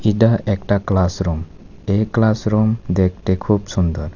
এডা একটা ক্লাসরুম এই ক্লাসরুম দেখতে খুব সুন্দর।